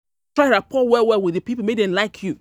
Make you dey try rapport well-well wit di pipo make dem like you.